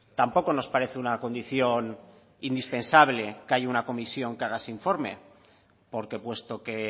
tampoco nos parece una condición indispensable que haya una comisión que haga ese informe porque puesto que